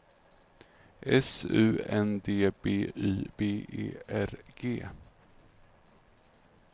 S U N D B Y B E R G